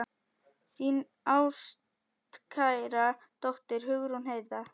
Þín ástkæra dóttir, Hugrún Heiða.